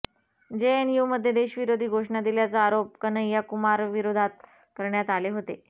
जेएनयुमध्ये देशविरोधी घोषणा दिल्याचा आरोप कन्हैया कुमारविरोधात करण्यात आले होते